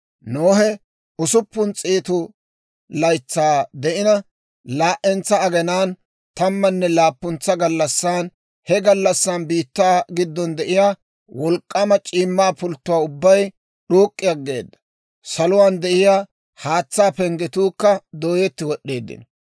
Nohe usuppun s'eetu laytsaa de'ina, laa"entsa aginaan, tammanne laappuntsa gallassan, he gallassan biittaa giddon de'iyaa wolk'k'aama c'iimmaa pulttuwaa ubbay d'uuk'k'i aggeeda; saluwaan de'iyaa haatsaa penggetuukka dooyetti wod'd'eeddino;